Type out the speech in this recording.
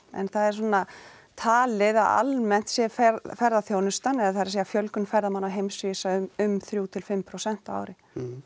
en það er svona talið að almennt sé ferðaþjónustan eða það er að segja fjölgun ferðamanna á heimsvísu um þrjú til fimm prósent á ári